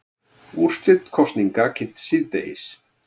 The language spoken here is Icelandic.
Úrslit kosninga kynnt síðdegis